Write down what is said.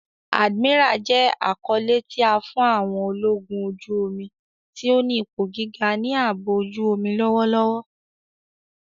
Admiral jẹ akọle ti a fi fun àwọn ologun oju-omi ti o ni ipo giga ni aabo ojuomi lọwọlọwọ.